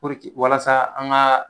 Puruke walasa an gaa